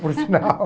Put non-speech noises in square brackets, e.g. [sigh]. Por sinal. [laughs]